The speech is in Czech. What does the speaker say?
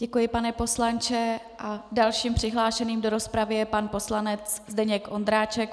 Děkuji, pane poslanče, a dalším přihlášeným do rozpravy je pan poslanec Zdeněk Ondráček.